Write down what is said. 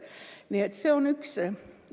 Nii et see on üks asi.